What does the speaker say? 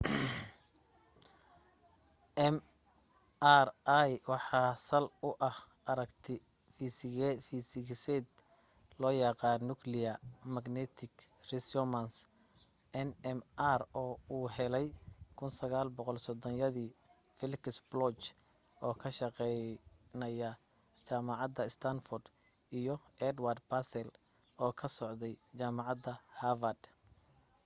mri waxa sal u ah aragti fiisigiseed loo yaqaan nuclear magnetic resonance nmr oo uu helay 1930yadii felix bloch oo ka shaqaynaya jaamacadda standford iyo edward purcell oo ka socday jaamacadda harvard